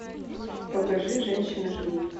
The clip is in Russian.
покажи женщины ждут